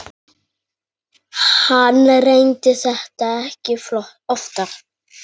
Hann reyndi þetta ekki oftar.